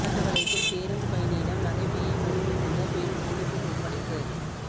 ராஜபாளையத்தில் பேருந்து பயணியிடம் நகைப்பையை பறித்துச் சென்ற பெண் போலீஸில் ஒப்படைப்பு